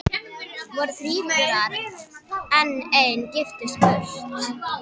Voru þríburar en ein giftist burt.